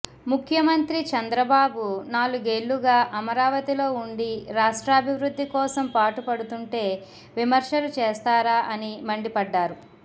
ముఖ్యమంత్రి చంద్రబాబు నాలుగేళ్లుగా అమరావతిలో ఉండి రాష్ట్రాభివృద్ధి కోసం పాటుపడుతుంటే విమర్శలు చేస్తారా అని మండిపడ్డారు